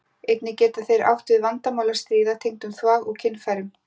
Einnig geta þeir átt við vandamál að stríða tengdum þvag- og kynfærum.